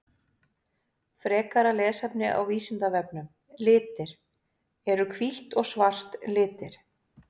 Frekara lesefni á Vísindavefnum Litir Eru hvítt og svart litir?